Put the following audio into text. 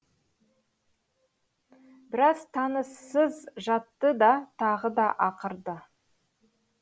біраз тыныссыз жатты да тағы да ақырды